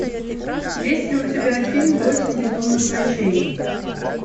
есть ли у тебя фильм восемь безумных ночей